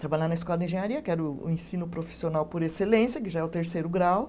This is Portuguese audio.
Trabalhar na escola de engenharia, que era o o ensino profissional por excelência, que já é o terceiro grau.